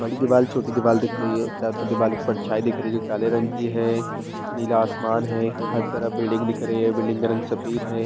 बड़ी दीवार छोटी दीवार दिख रही है चार ठो दीवार की परछाई दिख रही है जो काले रंग की है नीला आसमान है हर तरफ बिल्डिंग दिख रही है बिल्डिंग का रंग सफेद है।